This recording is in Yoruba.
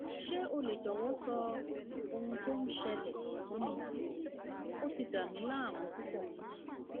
ṣé o lè jọwọ sọ ohun tó ń ṣẹlẹẹ fún mi ó ti dàmí láàmú púpọ